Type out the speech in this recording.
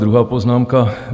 Druhá poznámka.